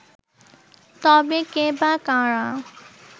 তবে কে বা কারা